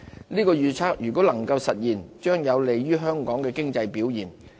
這預測倘若能夠實現，將有利香港經濟的表現。